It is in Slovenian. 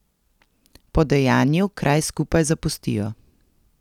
Po dejanju kraj skupaj zapustijo.